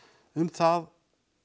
um það